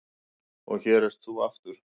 Og hér ert þú aftur.